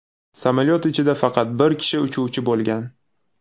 Samolyot ichida faqat bir kishi uchuvchi bo‘lgan.